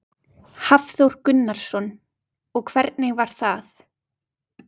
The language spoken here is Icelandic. Hafþór Gunnarsson: Og hvernig var það?